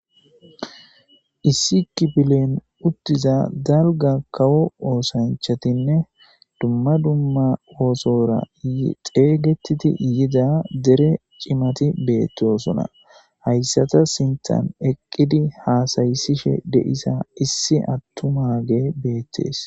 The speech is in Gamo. issi kipilen uttiza dalga kawo oosanchatinne dumma dumma oosora xeeygettidi yida dere cimati beettosona hayssata sintan eqqidi haasayisishe de7isa issi attumage beettees